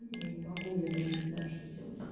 я не могу я даже не знаю что делать